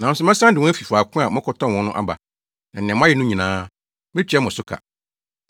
“Nanso, mɛsan de wɔn afi faako a mokɔtɔn wɔn no aba, na nea moayɛ no nyinaa, metua mo so ka.